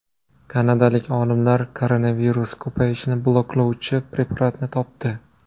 Kanadalik olimlar koronavirus ko‘payishini bloklovchi preparatni topdi.